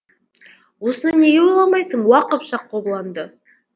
осыны неге ойламайсың уа қыпшақ қобыланды